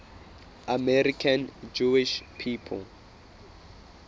american jewish people